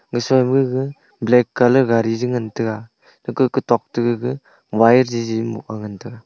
mise ma gaga black colour gari je ngan taga gaka kutok te gaga wire jiji moh a ngan taga.